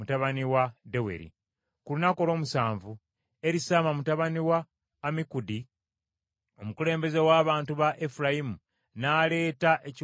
Ku lunaku olw’omusanvu Erisaama mutabani wa Ammikudi, omukulembeze w’abantu ba Efulayimu, n’aleeta ekiweebwayo kye.